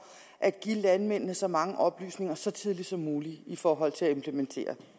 at give landmændene så mange oplysninger så tidligt som muligt i forhold til at implementere